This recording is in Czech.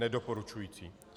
Nedoporučující.